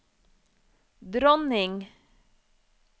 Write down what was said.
dronning